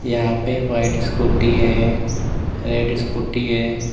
यहां पे white scooty है रेड स्कूटी है।